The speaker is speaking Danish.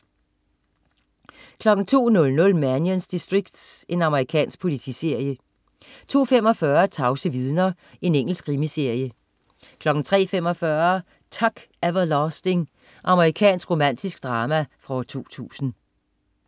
02.00 Mannions distrikt. Amerikansk politiserie 02.45 Tavse vidner. Engelsk krimiserie 03.45 Tuck Everlasting. Amerikansk romantisk drama fra 2002